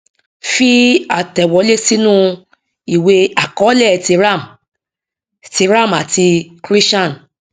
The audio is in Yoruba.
fi àtẹwọlé sínú ìwé àkọọlẹ ti ram ti ram àti krishan